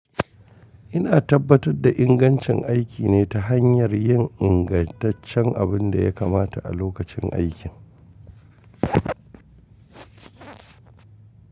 Ina tabbatar da ingancin aiki ne ta hanyar yin ingantaccen abin da ya kamata a lokacin aikin.